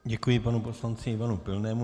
Děkuji panu poslanci Ivanu Pilnému.